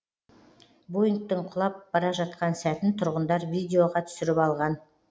боингтің құлап бара жатқан сәтін тұрғындар видеоға түсіріп алған